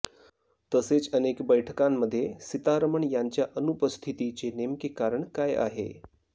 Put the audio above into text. तसेच अनेक बैठकांमध्ये सितारमण यांच्या अनुपस्थितीचे नेमके कारण काय आहे